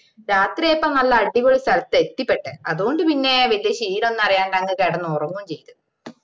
രാത്രിയായപ്പോ നല്ല അടിപൊളി സ്ഥലത്താ എത്തിപ്പെട്ടെ അതുകൊണ്ട് പിന്നെ വലിയ ക്ഷീണമൊന്നും അറിയാൻണ്ട് അങ്ങ് കിടന്നുറങ്ങുവേം ചെയ്ത്